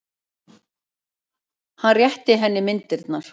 Hann rétti henni myndirnar.